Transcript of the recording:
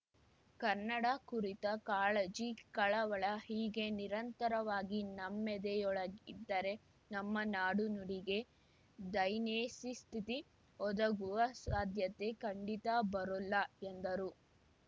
ಕನ್ನಡ ಕುರಿತ ಕಾಳಜಿ ಕಳವಳ ಹೀಗೆ ನಿರಂತರವಾಗಿ ನಮ್ಮೆದೆಯೊಳಗಿದ್ದರೆ ನಮ್ಮ ನಾಡು ನುಡಿಗೆ ದೈನೇಸಿ ಸ್ಥಿತಿ ಒದಗುವ ಸಾಧ್ಯತೆ ಖಂಡಿತಾ ಬರೋಲ್ಲ ಎಂದರು